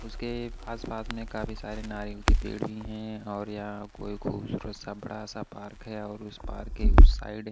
उसके आसपास में काफी सारे नारियल के पेड़ भी हैं और यहां कोई खूबसूरत सा बड़ा सा पार्क है और उस पार्क के उस साइड --